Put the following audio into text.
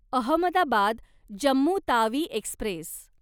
Ahmedabad Jammu Tawi Express